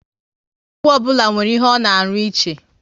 Ọgwụ ọbụla nwere ihe ọ na arụ ịche